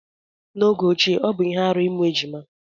n'oge ochie ọ bụ ihe arụ ịmụ ụmụ ejima